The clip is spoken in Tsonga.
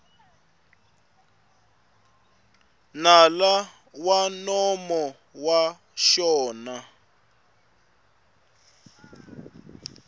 nala wa nomo wa xona